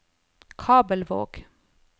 Kabelvåg